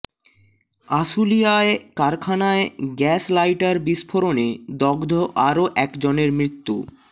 আশুলিয়ায় কারখানায় gas lighter বিস্ফোরণে দগ্ধ আরও একজনের মৃত্যু